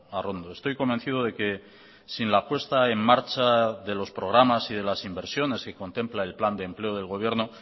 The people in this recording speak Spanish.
arrondo estoy convencido de que sin la apuesta en marcha de los programas y de las inversiones que contempla el plan de empleo del gobierno